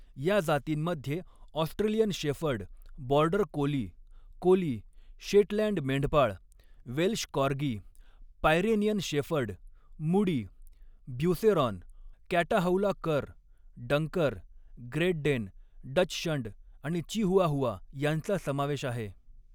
या जातींमध्ये Australian shepherd, border collie, collie, Shetland मेंढपाळ, Welsh corgi, Pyrenean shepherd, mudi, Beauceron, Catahoula cur, Dunker, great Dane, dachshund आणि Chihuahua यांचा समावेश आहे.